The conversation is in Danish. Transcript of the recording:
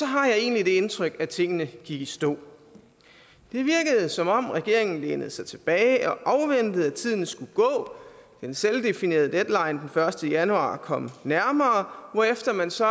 har jeg egentlig det indtryk at tingene gik i stå det virkede som om regeringen lænede sig tilbage og afventede at tiden skulle gå den selvdefinerede deadline den første januar kom nærmere hvorefter man så